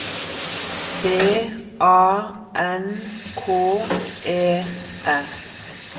B A N K E R